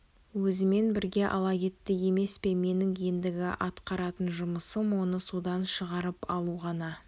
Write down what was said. өзімен бірге ала кетті емес пе менің ендігі атқаратын жұмысым оны судан шығарып алу ғана